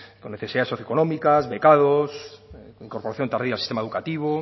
con necesidades socio económicas becados con incorporación tardía al sistema educativo